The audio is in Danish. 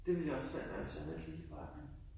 Det ville jeg også selv være, hvis jeg havde det lille barn nu